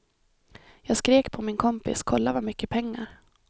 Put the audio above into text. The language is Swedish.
Jag skrek på min kompis, kolla vad mycket pengar.